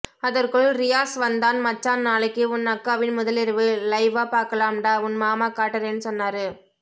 அதற்குள் ரியாஸ் வந்தான் மச்சான் நாளைக்கு உன் அக்காவின் முதலிரவு லைவ்வா பாக்கலாம் டா உன் மாமா காட்டறேனு சொன்னாரு